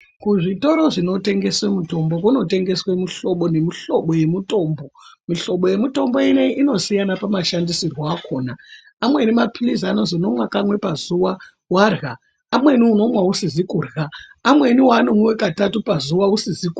Kuzvitoro zvinotengesa mitombo zvinotengesa mihlobo nemihlobo yemitombo mihlobo yemitombo ineyiyi inosiyana pamashandisirwo alona amweni mapilisi anozi unomwa kamwe warya amweni ano mwa usizi kurya amweni unomwiwa katatu usizi kurya.